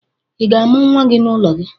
Ị ga-amụ nwa gị n'ụlọ gị?